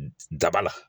Daba la